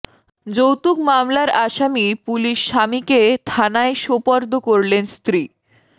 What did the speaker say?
যৌতুক মামলার আসামি পুলিশ স্বামীকে থানায় সোপর্দ করলেন স্ত্রী